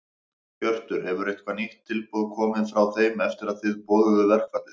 Hjörtur: Hefur eitthvað nýtt tilboð komið frá þeim eftir að þið boðuðu verkfallið?